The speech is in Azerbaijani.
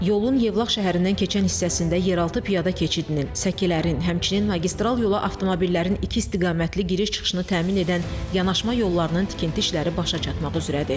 Yolun Yevlax şəhərindən keçən hissəsində yeraltı piyada keçidinin, səkilərin, həmçinin magistral yola avtomobillərin iki istiqamətli giriş-çıxışını təmin edən yanaşma yollarının tikinti işləri başa çatmaq üzrədir.